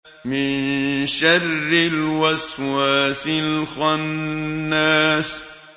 مِن شَرِّ الْوَسْوَاسِ الْخَنَّاسِ